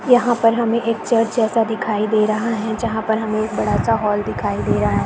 यहाँ पर हमे एक चर्च जैसा दिखाई दे रहा है जहाँ पर हमे एक बड़ा सा हॉल दिखाई दे रहा है।